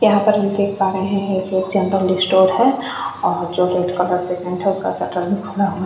यहाँ पर हम देख पा रहे हैं ये जनरल स्टोर है जो रेड कलर सेकमेंट है उसका शटर भी फुला हुआ है --